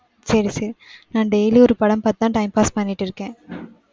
சரி, சரி. நான் daily யும் ஒரு படம் பார்த்துதான், time pass பண்ணிட்டு இருக்கேன்.